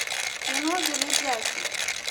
кино железяки